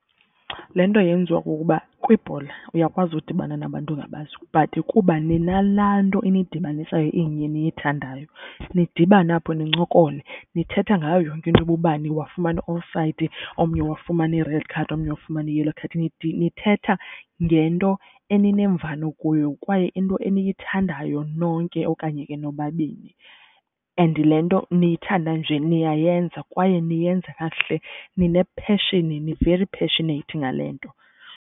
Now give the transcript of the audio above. Le nto yenziwa kukuba kwibhola uyakwazi udibana nabantu ongabazi but kuba ninalaa nto inidibanisayo inye eniyithandayo nidibane apho nincokole. Nithetha ngayo yonke into uba ubani wafumana offside omnye wafumana i-red card omnye wafumana i-yellow card. Nithetha ngento eninemvano kuyo kwaye into eniyithandayo nonke okanye ke nobabini, and le nto niyithanda nje niyayenza kwaye niyenza kakuhle nine-pheshini, ni-very passionate ngale nto.